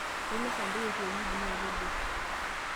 Ainosa mpuka e kienyeji naa kedua.